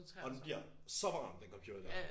Og den bliver så varm den computer der